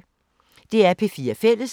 DR P4 Fælles